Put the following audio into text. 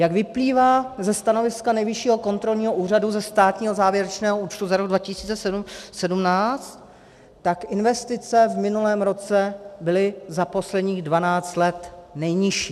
Jak vyplývá ze stanoviska Nejvyššího kontrolního úřadu, ze státního závěrečného účtu za rok 2017, tak investice v minulém roce byly za posledních 12 let nejnižší.